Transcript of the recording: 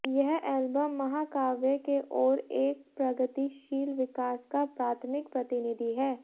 यह एल्बम महाकाव्य के ओर एक प्रगतिशील विकास का प्राथमिक प्रतिनिधि है